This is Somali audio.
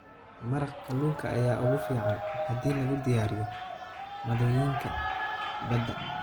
Maraq kalluunka ayaa ugu fiican haddii lagu diyaariyo maaddooyinka badda.